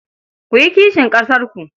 Ku yi kishin ƙasarku.